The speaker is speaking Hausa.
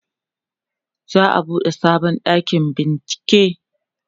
za'a buɗe sabon ɗakin bincieke